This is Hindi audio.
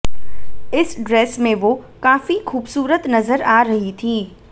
इस ड्रेस में वो काफी खूबसूरत नजर आ रही थीं